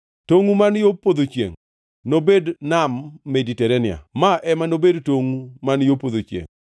Tongʼu man yo podho chiengʼ nobed Nam Mediterania. Ma ema nobed tongʼu man yo podho chiengʼ.